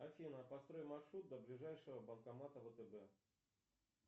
афина построй маршрут до ближайшего банкомата втб